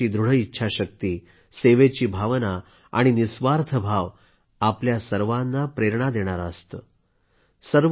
वास्तविक त्यांची दृढ इच्छाशक्ती सेवेची भावना आणि निस्वार्थ भाव आपल्या सर्वांना प्रेरणा देणारे असते